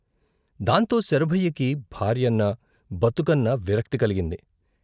దాంతో శరభయ్యకి భార్యన్నా, బతుకన్నా విరక్తి కలిగింది.